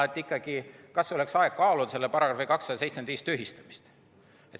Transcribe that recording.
See on, kas oleks ehk aeg kaaluda selle § 275 tühistamist.